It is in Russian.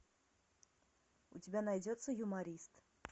у тебя найдется юморист